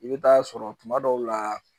I bɛ taa sɔrɔ tuma dɔw la